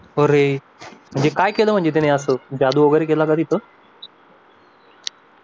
अरे म्हणजे त्यानं काय केलं म्हणजे तिथं असं जादू वगैरे केला का तिथं